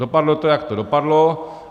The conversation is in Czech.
Dopadlo to, jak to dopadlo.